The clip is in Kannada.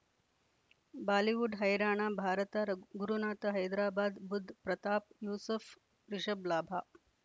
ಬಾಲಿವುಡ್ ಹೈರಾಣ ಭಾರತ ರಗ್ ಗುರುನಾಥ ಹೈದರಾಬಾದ್ ಬುಧ್ ಪ್ರತಾಪ್ ಯೂಸುಫ್ ರಿಷಬ್ ಲಾಭ